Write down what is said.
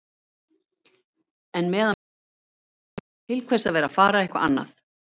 En meðan vel gengur segi ég: Til hvers að vera að fara eitthvað annað?